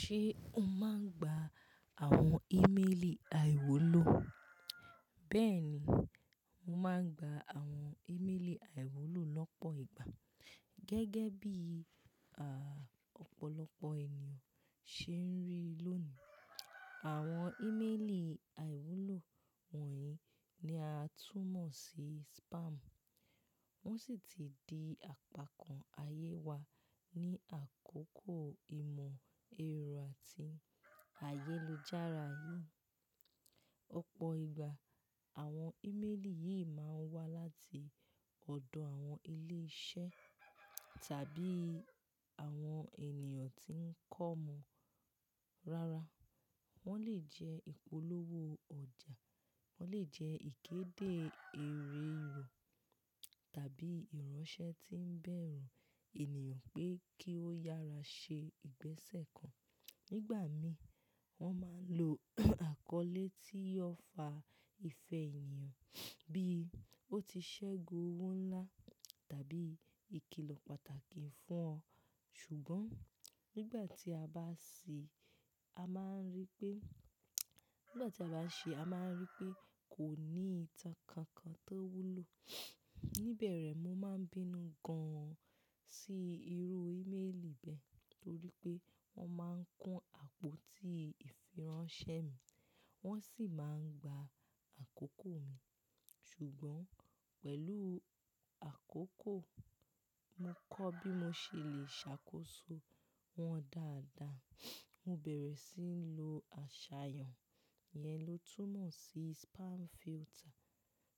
Ṣé o máa ń gba àwọn ímélì àìwúlò? Bẹ́ẹ̀ni, mo máa ń gba àwọn ímélì àìwúlò lọ́pọ̀ ìgbà. Gẹ́gẹ́ bí, à, ọ̀pọ̀lọpọ̀ ènìyàn ṣe ń rí lónìí. Àwọn ímélì àìwúlò wọ̀nyí ni a tún mọ̀ sí spam. Wọ́n sì ti di àpakàn ayé wa ní àkókò ìmọ̀ ẹ̀rọ àti ayélujára yìí. Ọ̀pọ̀ ìgbà àwọn ímélì yìí máa ń wá láti ọ̀dọ̀ àwọn ilé iṣẹ́ tàbí àwọn ènìyàn tí ń kọ́mọ. Rárá, wọ́n lè jẹ́ ìpolówó ọjà, wọ́n lè jẹ́ ìkéde ère ìwọ̀ tàbí ìránṣẹ́ tí ń bẹ̀rù ènìyàn pé kí ó yára ṣe ìgbésẹ̀ kan. Nígbà mí, wọ́n máa ń lo àkọlé tí yóò fa ìfẹ́ ènìyàn, bí ó ti ṣẹ́gun owó ńlá tàbí ìkìlọ̀ pàtàkì fún ọ. Ṣùgbọ́n nígbà tí a bá ṣì, a máa ń rí pé, nígbà tí a bá ṣè a máa ń rí pé kò ní ìtàn kankan tó wúlò. Ní bẹ̀rẹ̀ mo máa ń bínú gan-an sí irú ímélì bẹ́ẹ̀ torí pé wọ́n máa ń kún àpótí ìfiránṣẹ́ mi wọ́n sì máa ń gba àkókò mi. Ṣùgbọ́n pẹ̀lú àkókò, mo kọ́ bí mo ṣe lè ṣàkóso wọn dáadáa. Mo bẹ̀rẹ̀ síi ń lo àṣàyàn yẹn ló túmọ̀ sí spam filter